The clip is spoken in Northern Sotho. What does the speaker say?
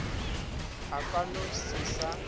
a ka no se sa